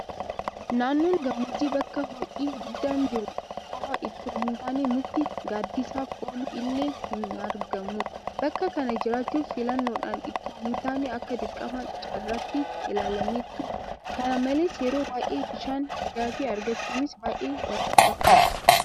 Naannoon gammoojjii bakka ho'i guddaan jiru qofa itoo hintaane mukti gaaddisaaf oolu illee hinargamu. Bakka kana jiraachuun filannoodhaan itoo hintaane akka dirqama carraatti ilaalameetu. Kana malees yeroo baay'ee bishaan dhugaatii argachuunis baay'ee rakkoodha.